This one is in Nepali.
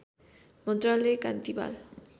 मन्त्रालय कान्ति बाल